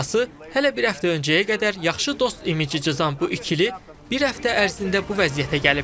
Qısası, hələ bir həftə öncəyə qədər yaxşı dost imici cızan bu ikili bir həftə ərzində bu vəziyyətə gəlib.